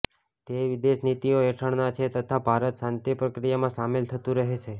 તે વિદેશ નીતિઓ હેઠળના છે તથા ભારત શાંતિ પ્રક્રિયામાં સામેલ થતું રહેશે